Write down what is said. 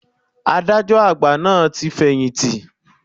Adájọ́ àgbà náà ti fẹ̀yìntì.